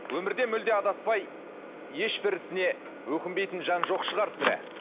өмірде мүлде адаспай ешбір ісіне өкінбейтін жан жоқ шығар сірә